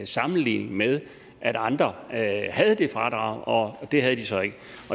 sammenligning med at andre havde det fradrag og at det havde de så ikke